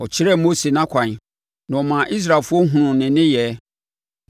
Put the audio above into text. Ɔkyerɛɛ Mose nʼakwan, na ɔmaa Israelfoɔ hunuu ne nneyɛɛ.